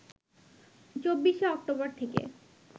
২৪শে অক্টোবর থেকে